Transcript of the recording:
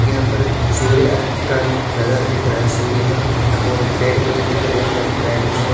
यहां पर सूर्य अस्त का नजारा दिख रहा है सूर्य का और पेड़-पौधे दिख रहे हैं लेफ्ट राइट में--